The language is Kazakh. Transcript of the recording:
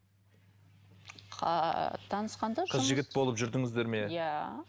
танысқанда қыз жігіт болып жүрдіңіздер ме иә